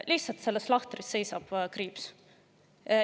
Lihtsalt selles lahtris seisab kriips.